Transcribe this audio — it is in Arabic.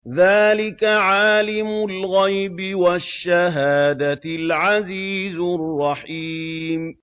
ذَٰلِكَ عَالِمُ الْغَيْبِ وَالشَّهَادَةِ الْعَزِيزُ الرَّحِيمُ